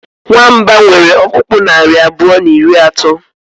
nwamba nwere ọkpụkpụ naari abụọ na iri atọ